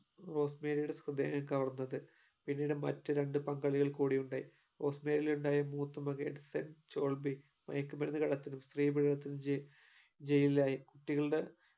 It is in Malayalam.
റോസ്സ്മേരിയുടെ ഹൃദയം കവർന്നത് പിന്നീട് മറ്റു രണ്ട് പങ്കാളികൾ കൂടിയുണ്ടായി റോസ്സ്‌മേരിയിലുണ്ടായ മൂത്ത മകൻ എഡ്സൺ ചൊഡ്വിക് മയക്കുമരുന്ന് കള്ളത്തിനും സ്ത്രീ പീഡനത്തിനും ജയിലി ജയിലിലായി കുട്ടികളുടെ